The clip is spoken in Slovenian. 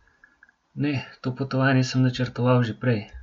Ne, to potovanje sem načrtoval že prej.